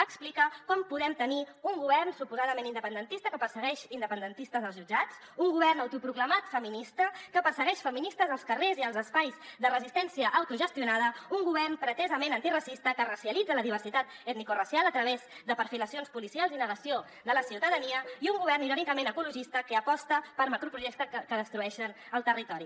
explica com podem tenir un govern suposadament independentista que persegueix independentistes als jutjats un govern autoproclamat feminista que persegueix feministes als carrers i als espais de resistència autogestionada un govern pretesament antiracista que racialitza la diversitat etnicoracial a través de perfilacions policials i negació de la ciutadania i un govern irònicament ecologista que aposta per macroprojectes que destrueixen el territori